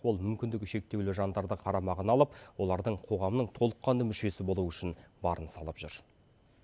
ол мүмкіндігі шектеулі жандарды қарамағына алып олардың қоғамның толыққанды мүшесі болуы үшін барын салып жүр